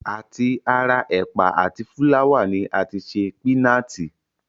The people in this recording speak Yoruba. À ti ara ẹ̀pà àti fúláwà ni a ti ṣe pínaatì